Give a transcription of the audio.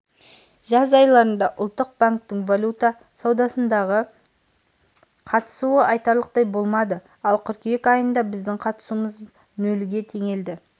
жаз айларында ұлттық банктің валюта саудасындағы қатысуы айтарлықтай болмады ал қыркүйек айында біздің қатысуымыз нөлге теңелді